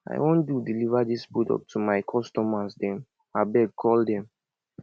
i wan do deliver dis products to my customers dem abeg call dem